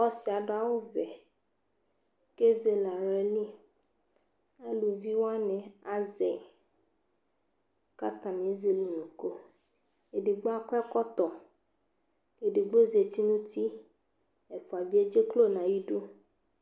Ɔsɩ yɛ adʋ awʋvɛ kʋ ezele aɣla li Aluvi wanɩ azɛ yɩ kʋ atanɩ ezele unuku Edigbo akɔ Edigbo zati nʋ uti Ɛfʋa bɩ edzeklo nʋ ayidu